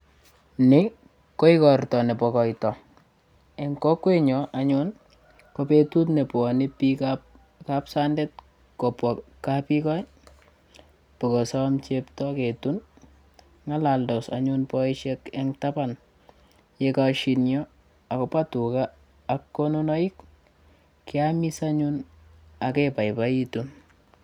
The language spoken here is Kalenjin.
Ni ko igorta nebo koita. Eng' kokwenyo anyun kobetut ne bwaneikap kapsandet kopwa kapyugoi bo kosom chepto ketun. Ng'alaldos anyun boishet eng tapan. Yekashiny o agobo tuga ak konunoik keamis anyun ageboiboitun.